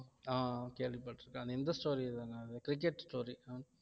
ஆஹ் கேள்விப்பட்டிருக்கேன் அது இந்த story தான அது cricket story